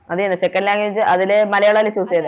അതെന്നെ Second language അതിലെ മലയാളല്ലേ Choose ചെയ്തേ